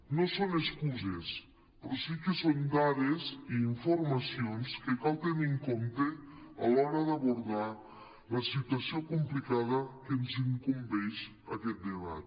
no són excuses però sí que són dades i informacions que cal tenir en compte a l’hora d’abordar la situació complicada que ens incumbeix en aquest de·bat